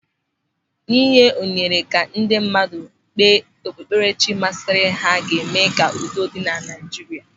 Ị nye ohere ka ndị mmadụ kpee okpukperechi masịrị ha ga-eme ka udo dị na Naịjirịa.